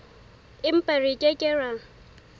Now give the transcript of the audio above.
empa re ke ke ra